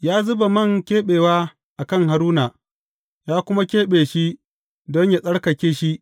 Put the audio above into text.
Ya zuba man keɓewa a kan Haruna, ya kuma keɓe shi don yă tsarkake shi.